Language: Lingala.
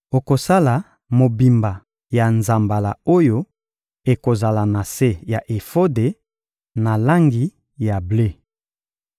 Okosala mobimba ya nzambala oyo ekozala na se ya efode na langi ya ble.